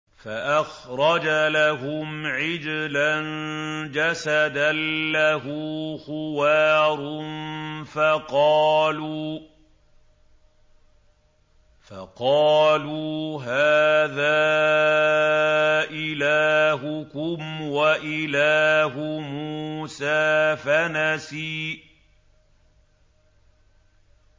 فَأَخْرَجَ لَهُمْ عِجْلًا جَسَدًا لَّهُ خُوَارٌ فَقَالُوا هَٰذَا إِلَٰهُكُمْ وَإِلَٰهُ مُوسَىٰ فَنَسِيَ